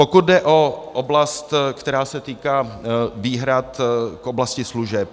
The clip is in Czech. Pokud jde o oblast, která se týká výhrad k oblasti služeb.